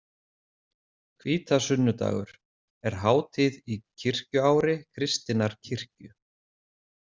Hvítasunnudagur er hátíð í kirkjuári kristinnar kirkju.